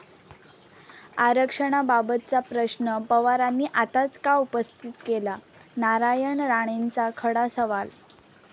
आरक्षणाबाबतचा प्रश्न पवारांनी आताच का उपस्थित केला' नारायण राणेंचा खडा सवाल